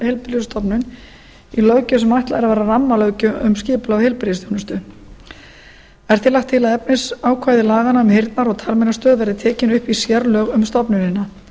heilbrigðisstofnun í löggjöf sem ætlað er að vera rammalöggjöf um skipulag heilbrigðisþjónustu er því lagt til að efnisákvæði laganna um heyrnar og talmeinastöð verði tekin upp í sérlög um stofnunina